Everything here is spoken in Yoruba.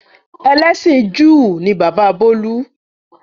Ẹlẹ́sìn Júù ni bàbá bolu.